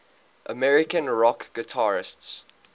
american rock guitarists